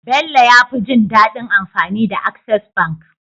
Bello yafi jin dadin amfani da access bank